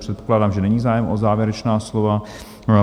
Předpokládám, že není zájem o závěrečná slova.